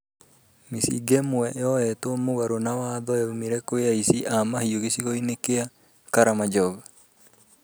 Mĩcinga ĩmwe yoetwo mũgarũ na watho yaumire kwĩ aici a mahiũ gĩcigo-inĩ gia Karamajong